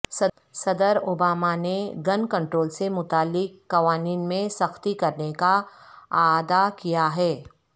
صدر اوباما نے gun control سے متعلق قوانین میں سختی کرنے کا اعادہ کیا ہے